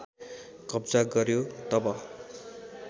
कब्जा गर्‍यो तब